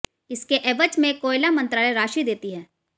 इसके एवज में कोयला मंत्रालय राशि देती है